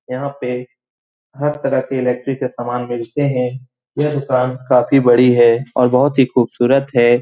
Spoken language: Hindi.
यहाँ पे हर तरह के इलेक्ट्रिक के सामान मिलते हैं। यह दुकान काफी बड़ी है और बोहोत ही खूबसूरत है।